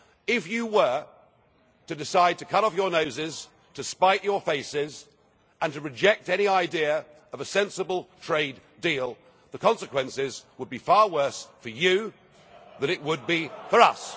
If you were to decide to cut off your noses to spite your faces and to reject any idea of a sensible trade deal, the consequences would be far worse for you than it would be for us.